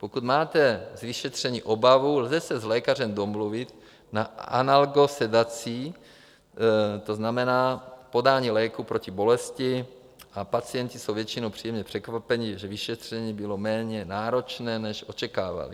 Pokud máte z vyšetření obavu, lze se s lékařem domluvit na analgosedaci, to znamená podání léku proti bolesti, a pacienti jsou většinou příjemně překvapeni, že vyšetření bylo méně náročné, než očekávali.